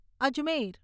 Ajmer